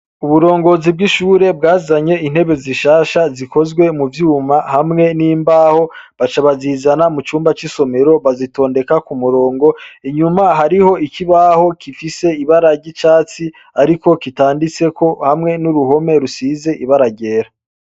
Uburongozi bwishure bwazanye intebe zishasha zikozwe muvyuma hamwe nimbaho bacabazizana mucumba cisomero bazitindeka kumurongo inyuma hariho ikibaho gifise ibara ryicatsi ariko kitanditseko hamwe nuruhome rusize ibara ryera